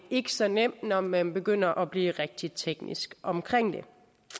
ikke så nemt når man begynder at blive rigtig teknisk omkring det